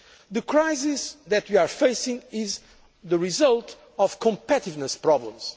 The crisis that we are facing is the result of competitiveness problems.